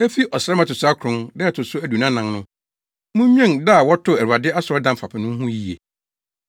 Efi ɔsram a ɛto so akron, da a ɛto so aduonu anan no, munnwen da a wɔtoo Awurade asɔredan fapem no ho yiye.